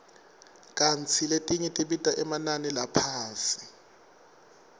kantsi letinye tibita emanani laphasi